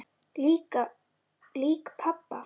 Lík pabba?